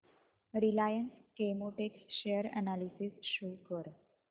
Reliance Chemotex share analysis show कर